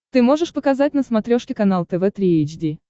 ты можешь показать на смотрешке канал тв три эйч ди